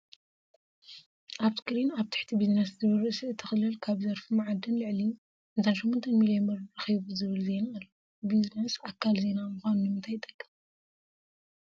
ኣብ ስክሪን ኣብ ትሕቲ ቢዝነስ ዝብል ርእሲ እቲ ክልል ካብ ዘርፊ መዓድን ልዕሊ 58 ሚልዮን ብር ረኺቡ ዝብል ዜና ኣሎ፡፡ ቢዝነስ ኣካል ዜና ምዃኑ ንምንታይ ይጠቅም?